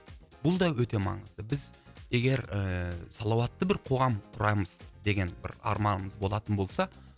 бұл да өте маңызды біз егер ііі салауатты бір қоғам құрамыз деген бір арманымыз болатын болса